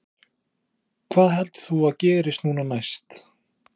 Magnús Hlynur Hreiðarsson: Hvað heldur þú að gerist núna næst?